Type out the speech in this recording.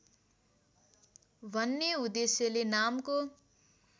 भन्ने उद्देश्यले नामको